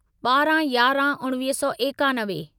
ॿारहं यारहं उणिवीह सौ एकानवे